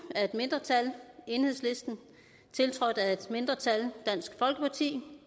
af et mindretal tiltrådt af et andet mindretal